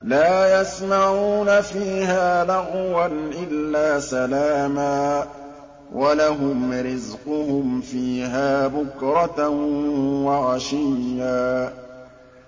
لَّا يَسْمَعُونَ فِيهَا لَغْوًا إِلَّا سَلَامًا ۖ وَلَهُمْ رِزْقُهُمْ فِيهَا بُكْرَةً وَعَشِيًّا